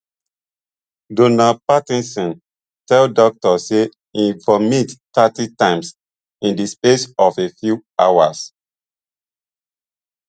donald patterson tell doctor say e vomit thirty times in di space of a few hours